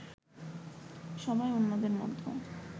সভায় অন্যদের মধ্যে